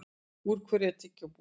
Úr hverju er tyggjó búið til?